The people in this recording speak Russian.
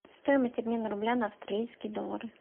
стоимость обмена рубля на австралийские доллары